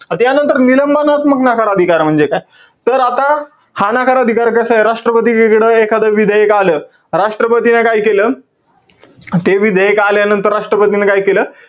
आता यानंतर निलंबनात्मक नकार अधिकार म्हणजे काय? तर आता, हा नकार अधिकार कसाय? राष्ट्रपतीकडं एखाद विधेयक आलं, राष्ट्रपतीने काय केलं? ते विधेयक आल्यानंतर राष्ट्र्पतीने काय केलं?